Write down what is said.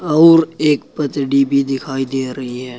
और एक भी दिखाई दे रही है।